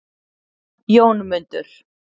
Jónmundur